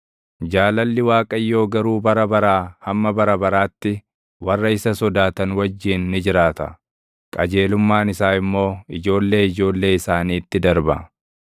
Jaalalli Waaqayyoo garuu bara baraa hamma bara baraatti warra isa sodaatan wajjin ni jiraata; qajeelummaan isaa immoo ijoollee ijoollee isaaniitti darba;